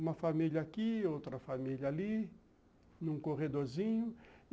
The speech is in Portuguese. Uma família aqui, outra família ali, num corredorzinho.